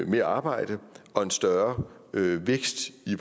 mere arbejde og en større vækst i